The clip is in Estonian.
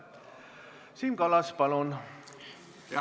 Siim Kallas, palun!